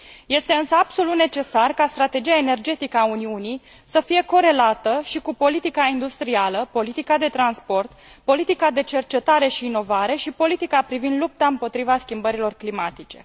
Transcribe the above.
Este însă absolut necesar ca strategia energetică a Uniunii să fie corelată și cu politica industrială, politica de transport, politica de cercetare și inovare și politica privind lupta împotriva schimbărilor climatice.